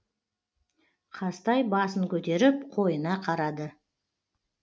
қазтай басын көтеріп қойына қарады